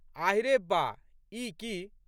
आहि रे बा! ई की?